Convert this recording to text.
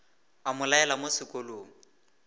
a mo laela mo sekolong